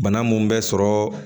Bana mun bɛ sɔrɔ